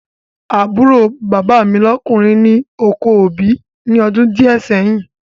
Àbúrò bàbá mi lọ́kùnrin ni oko obì ní ọdún díẹ̀ sẹ́yìn